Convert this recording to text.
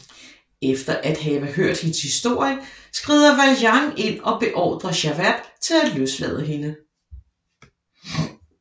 Efter at have hørt hendes historie skrider Valjean ind og beordrer Javert til at løslade hende